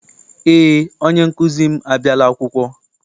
Eé, onye nkụzi m abiala akwụkwọ.